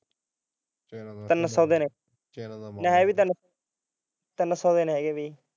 ਤਿੰਨ ਸੋ ਦੇ ਨੇ ਹੈ ਵੀ ਤਿੰਨ ਸੋ ਦੇ ਨੇ ਬਾਈ